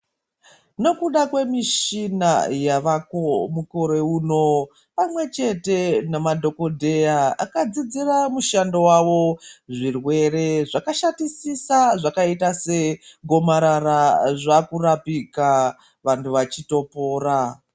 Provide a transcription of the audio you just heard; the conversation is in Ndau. Nekuda kwemishina yavako mukore uno pamwechete nemadhokodheya akadzidzira mushando wavo zvirwere zvakashatisisa zvakaita segomarara zvakirapika vantu vachitopora.